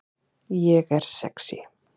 Ég er sexý